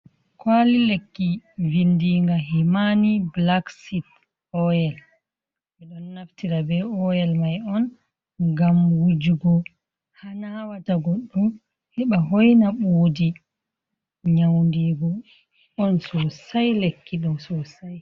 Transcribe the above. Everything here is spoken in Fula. Kwaali lekki, vindiiga Himani Black seed Oil. Ɓe ɗon naftira bee oyel mai on gam wujugo ha naawata goɗɗo heɓa hoina ɓoodi. Nyawdiigu on sosai lekki ɗon.